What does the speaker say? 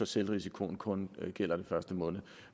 selvrisikoen kun gælder den første måned